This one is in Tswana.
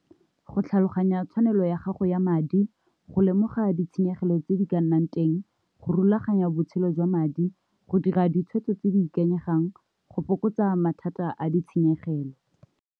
Go tlhaloganya tshwanelo ya gago ya madi, go lemoga ditshenyegelo tse di ka nnang teng, go rulaganya botshelo jwa madi, go dira ditshwetso tse di ikanyegang, go fokotsa mathata a ditshenyegelo.